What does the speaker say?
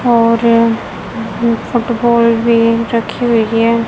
और फुटबॉल भी रखी हुई है।